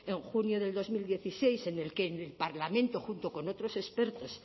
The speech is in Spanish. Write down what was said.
en junio de dos mil dieciséis en el que el parlamento junto con otros expertos